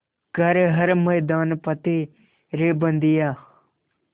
कर हर मैदान फ़तेह रे बंदेया